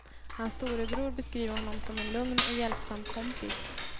Hans storebror beskriver honom som en lugn och hjälpsam kompis.